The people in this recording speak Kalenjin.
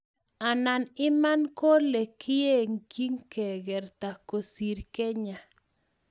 anan Iman kole keygeii kegerta kosiir kenyaa